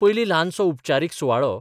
पयलीं ल्हानसो उपचारीक सुवाळो.